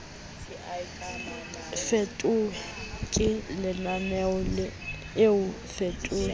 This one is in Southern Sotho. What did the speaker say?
fetuwe ke lenaneo o fetuwe